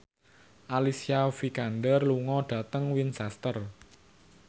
Alicia Vikander lunga dhateng Winchester